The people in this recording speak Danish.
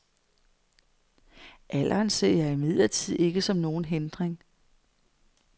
Alderen ser jeg imidlertid ikke som nogen hindring.